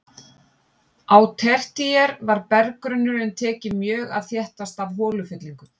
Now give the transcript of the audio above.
Á tertíer var berggrunnurinn tekinn mjög að þéttast af holufyllingum.